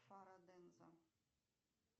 фараденза